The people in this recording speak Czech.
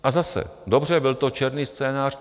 A zase, dobře, byl to černý scénář.